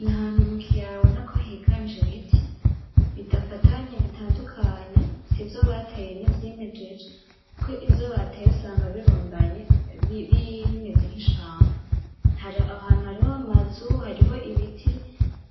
N’ahantu mu kiyaya ubona ko hingaje ibiti bidafatanye bitandukanye, sivyo bateye n'ivyimejeje, kuko ivyo bateye usanga birundanye bimeze nk'ishamba. Aho hantu hariho amazu hariho ibiti